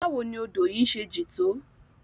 Bawo ni odo yi se jin to?